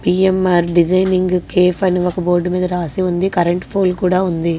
PNR designing cafe అని ఒక board మీద రాసి ఉంది.కరెంట్ పోల్ కూడా ఉంది.